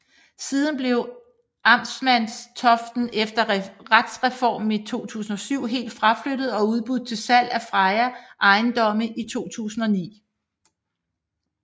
Siden blev Amtmandstoften efter retsreformen i 2007 helt fraflyttet og udbudt til salg af Freja ejendomme i 2009